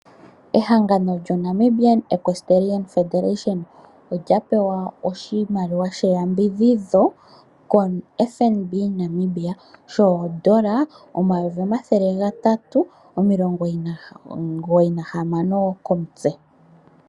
Ehangalo lyo Namibian Equestrian Federation olya pewa oshimaliwa sheyambidhidho koFNB Namibia, shoondola omayovi omathele gatatu omugoyi nahamano komutse.